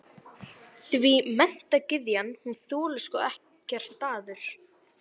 Því menntagyðjan, hún þolir sko ekkert daður.